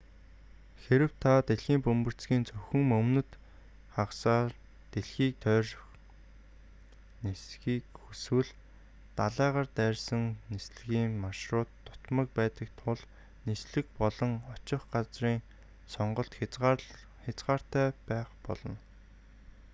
хэрэв та дэлхийн бөмбөрцгийн зөвхөн өмнөд хагасаар дэлхийг тойрон нисэхийг хүсвэл далайгаар дайрсан нислэгийн маршрут дутмаг байдаг тул нислэг болон очих газрын сонголт хязгаартай байх болно